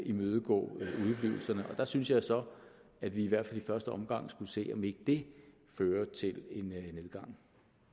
imødegå udeblivelserne og der synes jeg så at vi i hvert fald i første omgang skulle se om ikke det fører til en nedgang